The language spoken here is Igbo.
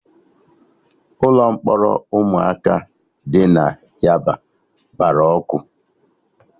Ụlọ mkpọrọ ụmụaka dị na yaba gbara ọkụ